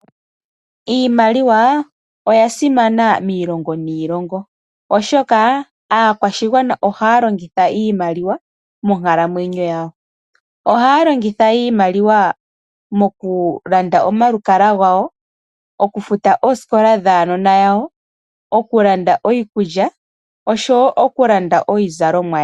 Iimaliwa oya simana miilongo niilongo oshoka aakwashigwana ohaya longitha iimaliwa monkalamwenyo yawo. Oha ya longithwa okufuta oosikola dhuunona wawo okulanda iikulya oshowo okulanda iizalomwa yawo.